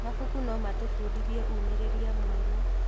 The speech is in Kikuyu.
Mabuku no matũbundithie ũũmĩrĩria mwerũ.